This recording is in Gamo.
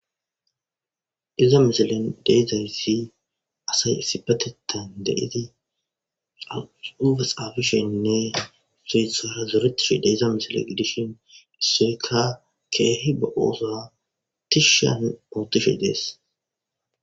Iza misilen de'zays assay issipetetan de'id xuufe xafishenne issoy isara zoretiza misile gidishn issoyka keeh be oothuwa tishan othishe des.